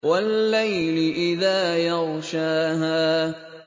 وَاللَّيْلِ إِذَا يَغْشَاهَا